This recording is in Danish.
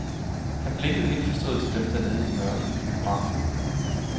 Han blinkede indforstået til dem dernede i mørket i biografen.